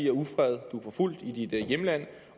og ufred du er forfulgt i dit hjemland